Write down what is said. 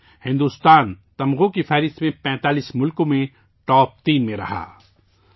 اس میں بھارت تمغوں کی فہرست میں 45 ممالک میں ٹاپ تین میں رہا